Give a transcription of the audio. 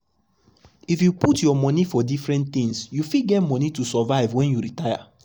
if you put your monie for different things you fit get money to survive when you retire. you retire.